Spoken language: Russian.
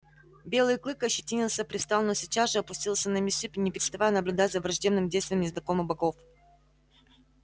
белый клык ощетинился привстал но сейчас же опустился на месю не переставая наблюдать за враждебными действиями незнакомых богов